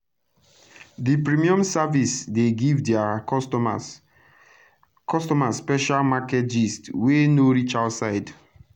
d premium service dey give dia customers customers special market gist wey no reach outside